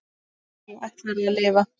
Á hverju ætlarðu að lifa?